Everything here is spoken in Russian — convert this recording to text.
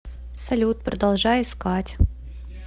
салют продолжай искать